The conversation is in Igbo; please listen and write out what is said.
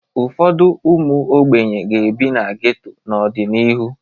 Ụfọdụ ụmụ ogbenye ga-ebi na geto n'ọdịnihu.